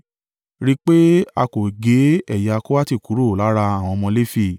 “Rí i pé a kò gé ẹ̀yà Kohati kúrò lára àwọn ọmọ Lefi.